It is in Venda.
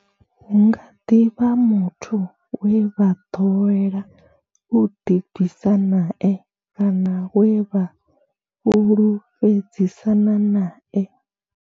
Hu nga ḓi vha muthu we vha ḓowela u ḓi bvisa nae kana we vha fhulufhedzisana nae.